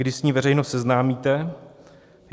Kdy s ní veřejnost seznámíte?